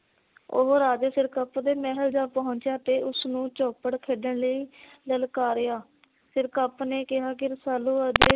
ਉਹ ਰਾਜੇ ਸਿਰਕਪ ਦੇ ਮਹਿਲ ਜਾ ਪੁਹਚਿਆ ਤੇ ਉਸਨੂੰ ਚੋਪੜ ਖੇਡਣ ਲਈ ਲਲਕਾਰਿਆ। ਸਿਰਕਪ ਨੇ ਕਿਹਾ ਕਿ ਰਸਾਲੂ ਅੱਜ